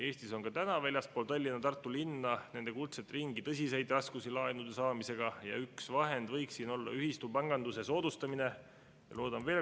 Eestis on ka täna väljaspool Tallinna ja Tartu linna, nende kuldset ringi, tõsiseid raskusi laenude saamisel ja üks vahend võiks olla ühistupanganduse soodustamine.